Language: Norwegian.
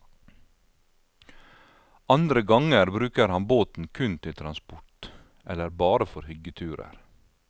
Andre ganger bruker han båten kun til transport, eller bare for hyggeturer.